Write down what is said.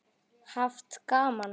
Haft gaman af.